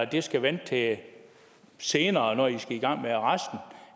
det skal vente til senere når i skal i gang med resten